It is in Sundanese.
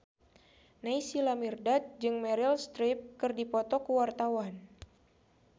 Naysila Mirdad jeung Meryl Streep keur dipoto ku wartawan